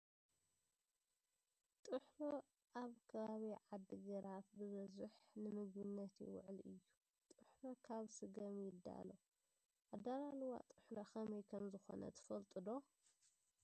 ጥሕሎ ኣብ ከባቢ ዓዲግራት ብበዙ ንምግብነት ይውዕል እዮ ። ጥሕሎ ካብ ስገም ይዳለው ። ኣደላልዋ ጥሕሎ ከመይ ከምዝኮነ ትፈልጡ ዶ ?